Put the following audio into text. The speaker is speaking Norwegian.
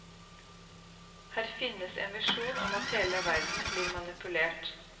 Her finnes en visjon om at hele verden blir manipulert.